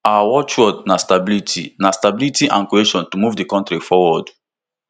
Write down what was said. our watchword na stability na stability and cohesion to move di kontri forward